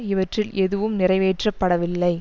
இவற்றில் எதுவும் நிறைவேற்ற படவில்லை